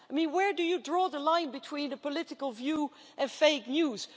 Where do you draw the line between a political view and fake news?